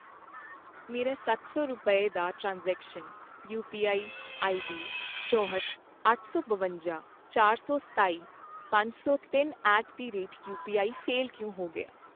ਮੇਰਾ ਸੱਤ ਸੌ ਰੁਪਏ, ਦਾ ਟ੍ਰਾਂਸਜ਼ੇਕਸ਼ਨਜ਼, ਯੂਪੀਆਈ ਆਈਡੀ ਚੌਂਹਠ, ਅੱਠ ਸੌ ਬਵੰਜਾਂ, ਚਾਰ ਸੌ ਸਤਾਈ, ਪੰਜ ਸੌ ਤਿੰਨ at the rate UPI fail ਕਿਉਂ ਹੋ ਗਿਆ ?